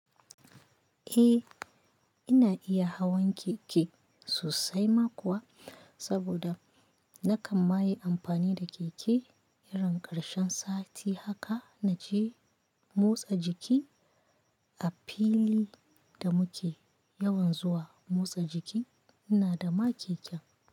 Eh ina iya hawan keke sosai ma kuwa saboda nakan ma yi amfani da keke irin karshen sati haka naje motsa jiki a fil da muke yawan zuwa motsa jiki ina da ma keken.